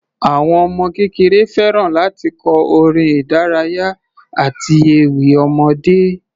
Àwọn ọmọ kékeré fẹ́ràn láti kọ orin ìdárayá àti ewì ọmọdé.